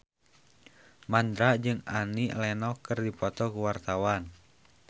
Mandra jeung Annie Lenox keur dipoto ku wartawan